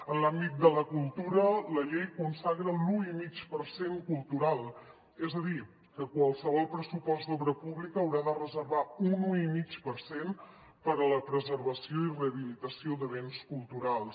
en l’àmbit de la cultura la llei consagra l’un coma cinc per cent cultural és a dir que qualsevol pressupost d’obra pública haurà de reservar un un coma cinc per cent per a la preservació i rehabilitació de béns culturals